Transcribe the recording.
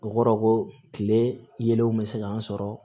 O kɔrɔ ko kile yelenw bɛ se k'an sɔrɔ